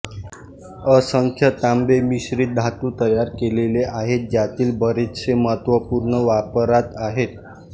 असंख्य तांबे मिश्रीत धातु तयार केलेले आहेत ज्यातील बरेचसे महत्त्वपूर्ण वापरात आहेत